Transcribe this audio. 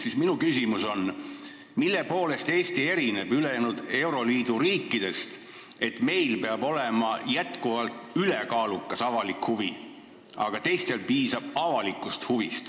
Seega minu küsimus on, mille poolest erineb Eesti ülejäänud euroliidu riikidest, et meil peab seaduses jätkuvalt olema ülekaalukas avalik huvi, kuigi teistel piisab avalikust huvist.